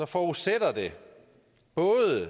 forudsætter det både